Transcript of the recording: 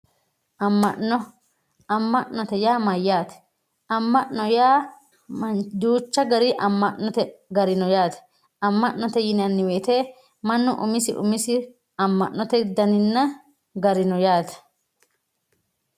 Amma'no. Amma'note yaa mayyaate? Amma'no yaa duucha gari Amma'note gari no yaate. Amma'note yinanni woyiite mannu umisi umisi amma'note daninna gari no yaate.